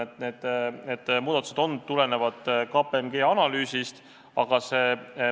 Ent vahe viina kasuks ei oleks enam 80%, vaid oluliselt väiksem.